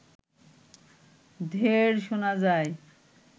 ঢেড় শোনা যায়